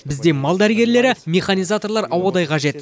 бізде мал дәрігерлері механизаторлар ауадай қажет